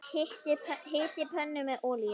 Hitið pönnu með olíu.